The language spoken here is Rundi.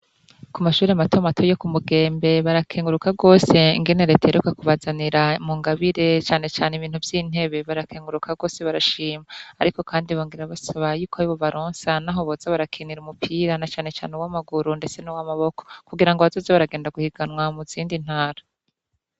Ku mashure mato mato yo ku Mugembe barakenguruka rwose ingene Leta iheruka kubazanira mu ngabire cane cane ibintu vy'intebe. Barakenguruka rwose barashima. Ariko kandi bongera basaba yuko bobaronsa naho boza barakinira barakenera umupira na cane ane uw'amaguru ndetse n'uw'amaboko, kugirango baboze baragenda guhiganwa mu zindi ntara.